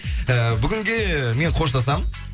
і бүгінге мен қоштасамын